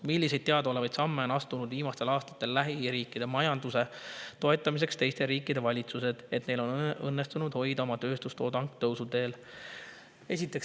Milliseid teadaolevaid samme on astunud viimastel aastatel lähiriikide majanduse toetamiseks teiste riikide valitsused, et neil on õnnestunud hoida oma tööstustoodang tõusuteel?